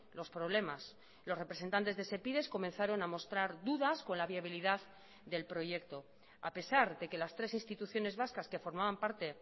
los problemas los representantes de sepides comenzaron a mostrar dudas con la viabilidad del proyecto a pesar de que las tres instituciones vascas que formaban parte